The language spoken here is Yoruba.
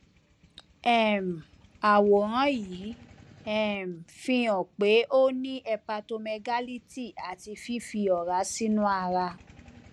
um àwòrán yìí um fi hàn pé ó ní hepatomegality àti fífi ọrá sínú ara